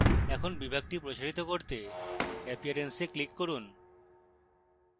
এখন বিভাগটি প্রসারিত করতে appearance এ click করুন